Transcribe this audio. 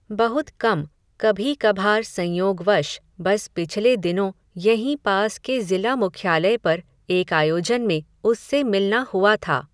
बहुत कम, कभी कभार संयोग वश, बस पिछले दिनों यहीं पास के ज़िला मुख्यालय पर, एक आयोजन में, उससे मिलना हुआ था